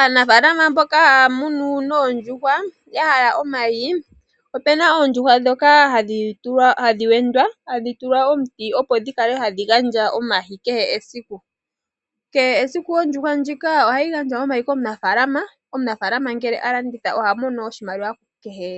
Aanafaalama mboka haya munu oondjuhwa ya hala omayi, opu na oondjuhwa ndhoka hadhi wendwa hadhi tulwa omuti, opo dhi kale hadhi gandja omayi kehe esiku. Kehe esiku oondjuhwa ndhika ohadhi gandja omayi komunafaalama. Omunafaalama ngele a landitha oha mono oshimaliwa kehe